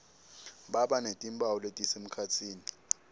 baba netimphawu letisemkhatsini